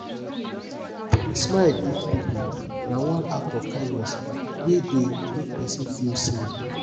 to de smile greet pipo na one act of kindness wey de make persin feel seen